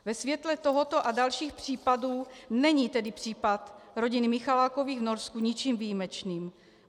Ve světle tohoto a dalších případů není tedy případ rodiny Michalákových v Norsku ničím výjimečným.